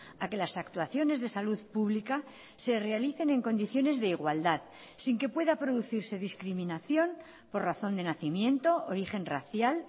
a que las actuaciones de salud pública se realicen en condiciones de igualdad sin que pueda producirse discriminación por razón de nacimiento origen racial